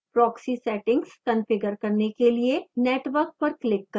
proxy settings configure करने के लिए network पर click करें